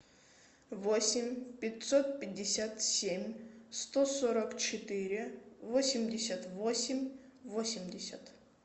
восемь пятьсот пятьдесят семь сто сорок четыре восемьдесят восемь восемьдесят